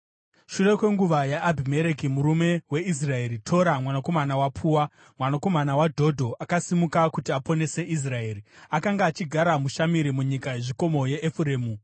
Shure kwenguva yaAbhimereki murume weIsraeri, Tora mwanakomana waPua, mwanakomana waDhodho, akasimuka kuti aponese Israeri. Akanga achigara muShamiri munyika yezvikomo yeEfuremu.